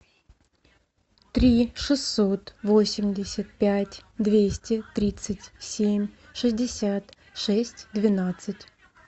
три шестьсот восемьдесят пять двести тридцать семь шестьдесят шесть двенадцать